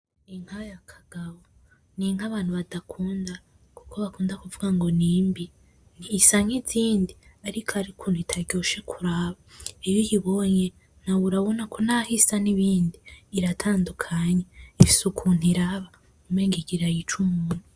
Inka ya Kagabo, n'inka abantu badakunda kuko bakunda kuvuga ngo nimbi. Isa nkizindi ariko hari ukuntu itaryoshe kuraba. Iyo uyibonye nawe urabona ko naho isa nibindi iratandukanye. Ifise ukuntu iraba umenga igira yice umuntu.